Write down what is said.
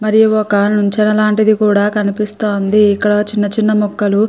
మరి ఒక నిచ్చెన లాంటిది కూడా కనిపిస్తుంది. ఇక్కడ చిన్న చిన్న మొక్కలు --